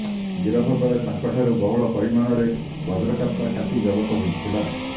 ଗିରଫବେଳେ ତାଙ୍କଠାରୁ ବହୁଳ ପରିମାଣରେ ବଜ୍ରକାପ୍ତା କାତି ଜବତ ହୋଇଥିଲା